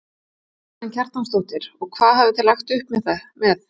Karen Kjartansdóttir: Og hvað hafið þið lagt upp með?